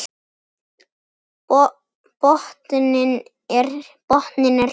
Botninn er hér!